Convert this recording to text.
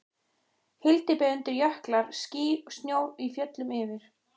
Hyldýpi undir, jöklar, ský, snjór í fjöllum yfir.